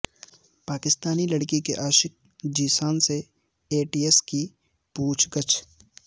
پاکستانی لڑکی کے عاشق ذیشان سے اے ٹی ایس کی پوچھ گچھ